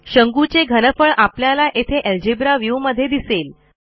शंकूचे घनफळ आपल्याला येथे अल्जेब्रा व्ह्यू मध्ये दिसेल